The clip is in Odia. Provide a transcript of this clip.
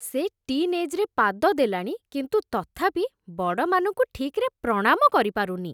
ସେ ଟି'ନ୍ ଏଜ୍‌ରେ ପାଦ ଦେଲାଣି କିନ୍ତୁ ତଥାପି ବଡ଼ମାନଙ୍କୁ ଠିକ୍‌ରେ ପ୍ରଣାମ କରିପାରୁନି ।